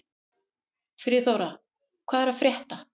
Friðþóra, hvað er að frétta?